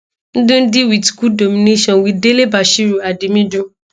ndidi wit good domination wit delebashiru at di middle